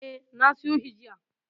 E, na siyo shi jiya.